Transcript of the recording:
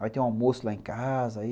Vai ter um almoço lá em casa.